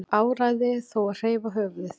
Áræði þó að hreyfa höfuðið.